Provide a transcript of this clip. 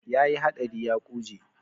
Ya yi haɗari ya ƙuje.